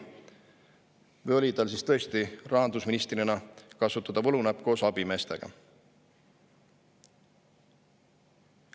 Või oli tal siis tõesti rahandusministrina kasutada võlunäpp koos abimeestega.